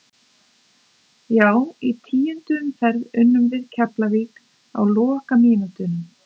Já í tíundu umferð unnum við Keflavík á lokamínútunum.